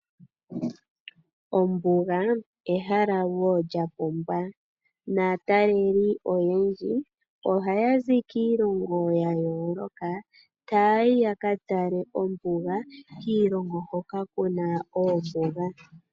Ombuga ehala wo lyapumba naataleli oyendji ohaya zi kiilongo yayooloka taya yi yakatale ombuga kiilongo hoka kuna oombuga.